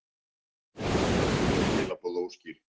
Margir töldu þau skilaboð óskýr.